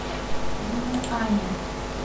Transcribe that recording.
юнъань